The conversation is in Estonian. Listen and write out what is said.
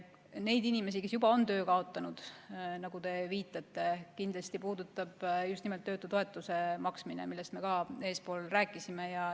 Neid inimesi, kes juba on töö kaotanud, nagu te viitate, puudutab just nimelt töötutoetuse maksmine, millest me ka enne rääkisime.